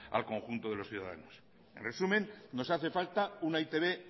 al conjunto de los ciudadanos en resumen nos hace falta una e i te be